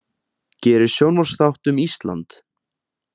Gerir sjónvarpsþátt um Ísland